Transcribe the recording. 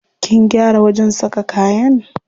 Kin gyara wajen saka kayan?